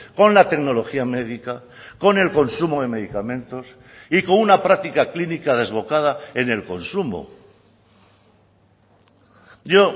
con la tecnología médica con el consumo de medicamentos y con una práctica clínica desbocada en el consumo yo